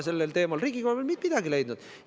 Riigikogu pole sel teemal veel midagi leidnud!